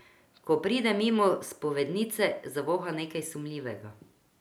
Ko pride mimo spovednice, zavoha nekaj sumljivega.